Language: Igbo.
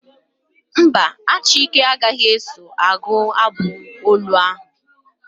Mba, Achike agaghị eso agụ abụ olu ahụ.